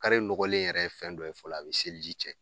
nɔgɔlen yɛrɛ ye fɛn dɔ ye fɔlɔ a bɛ seliji tiɲɛ